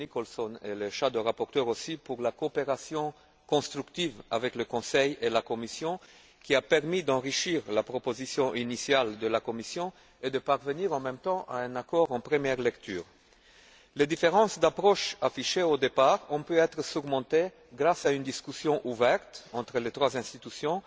Nicholson ainsi que le rapporteur fictif pour la coopération constructive avec le Conseil et la Commission, qui a permis d'enrichir la proposition initiale de la Commission et de parvenir en même temps à un accord en première lecture. Les différences d'approche affichées au départ ont pu être surmontées grâce à une discussion ouverte entre les trois institutions